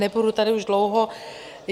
Nebudu tady už dlouho.